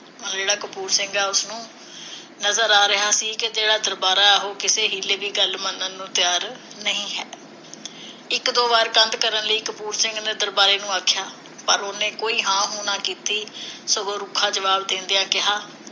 ਨਜ਼ਰ ਆ ਰਿਹਾ ਸੀ ਕੇ ਜਿਹੜਾ ਦਰਬਾਰਾ ਹੈ ਉਹ ਕਿਸੇ ਹੀਲੇ ਦੀ ਗੱਲ ਮੰਨਣ ਨੂੰ ਤਿਆਰ ਨਹੀਂ ਹੈ ਇਕ ਦੋ ਵਾਰ ਕੰਧ ਕਰਨ ਲਈ ਕਪੂਰ ਸਿੰਘ ਨੇ ਦਰਬਾਰੇ ਨੂੰ ਆਖਿਆ। ਪਰ ਉਹਨੈ ਕੋਈ ਹਾਂ -ਹੂੰ ਨਾ ਕੀਤੀ, ਸਗੋਂ ਰੁੱਖਾ ਜਵਾਬ ਦੇਂਦਿਆਂ ਕਿਹਾ